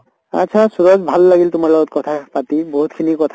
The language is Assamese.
আত্চ্ছা ছুৰজ ভাল লাগিল তোমাৰ লগত কথা পাতি, বহুত খিনি কথা